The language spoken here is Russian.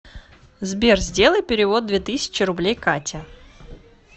сбер сделай перевод две тысячи рублей кате